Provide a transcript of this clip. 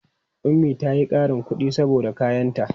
Ummi ta yi ƙarin kuɗi saboda kayanta.